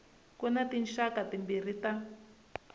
ku na tinxaka timbirhi ta